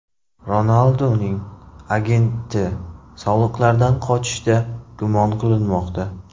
Ronalduning agenti soliqlardan qochishda gumon qilinmoqda.